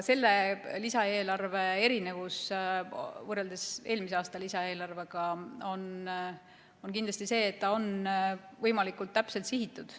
Selle lisaeelarve erinevus võrreldes eelmise aasta lisaeelarvega on kindlasti see, et ta on võimalikult täpselt sihitud.